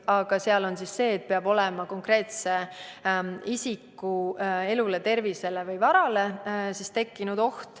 Aga seal on kirjas, et peab olema oht konkreetse isiku elule, tervisele või varale.